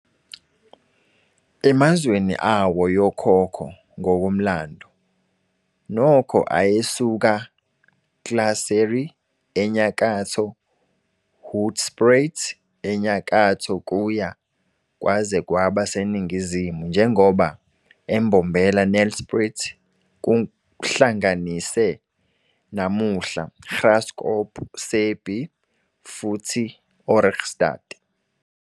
Emazweni awo yokhokho ngokomlando, Nokho ayesuka Klaserie, enyakatho Hoedspruit enyakatho kuya kwaze kwaba seningizimu njengoba eMbombela, Nelspruit, kuhlanganise namuhla Graskop, Sabie futhi Ohrigstad.